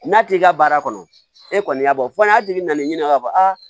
N'a t'i ka baara kɔnɔ e kɔni y'a bɔ fɔ n'a tigi bɛna n'i ɲininka k'a fɔ aa